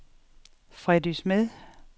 Freddy Smed